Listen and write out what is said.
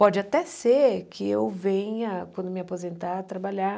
Pode até ser que eu venha, quando me aposentar, trabalhar